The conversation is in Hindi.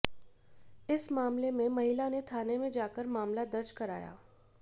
इस मामले में महिला ने थाने में जाकर मामला दर्ज कराया